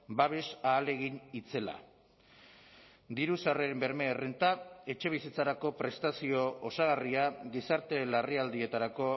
babes ahalegin itzela diru sarreren berme errenta etxebizitzarako prestazio osagarria gizarte larrialdietarako